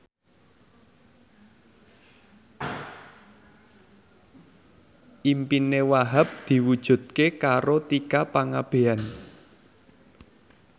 impine Wahhab diwujudke karo Tika Pangabean